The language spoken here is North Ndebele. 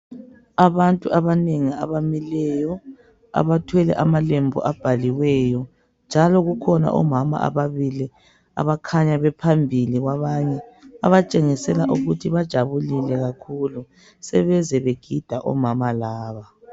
Abantu abanengi abamileyo abathwele amalembu amanengi abhaliweyo njalo kukhona omama ababili abakhanya bephambi kwabanye abatshengisela ukuthi bajabulile kakhulu sebeze begida omama laba.